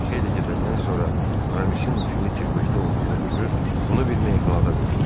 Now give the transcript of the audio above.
Bir xeyli gedəndən sonra Aramisin huşunu itirməkdə olduğunu görüb onu bir meyxanada qoydular.